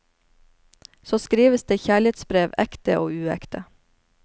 Så skrives det kjærlighetsbrev, ekte og uekte.